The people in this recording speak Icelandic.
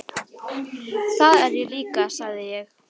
Það er ég líka sagði ég.